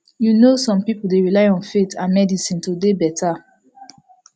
you no some pipul dey rely on faith and medicine to dey beta